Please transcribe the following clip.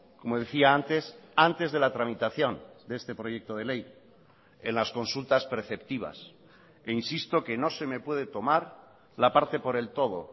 como decía antes antes de la tramitación de este proyecto de ley en las consultas preceptivas e insisto que no se me puede tomar la parte por el todo